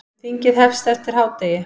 Þingið hefst eftir hádegi.